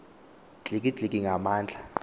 dliki dliki ngamandla